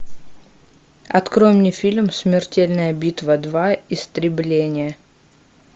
открой мне фильм смертельная битва два истребление